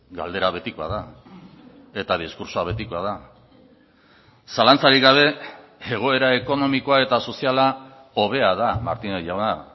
galdera betikoa da eta diskurtsoa betikoa da zalantzarik gabe egoera ekonomikoa eta soziala hobea da martínez jauna